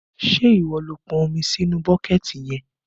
Ṣé ìwọ ló pọn omi sí inú bọ́kẹ̀ẹ̀tì yẹn?